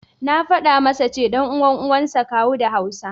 Na faɗa masa ce, ɗan uwan Uwa suansa Kawu da Hausa.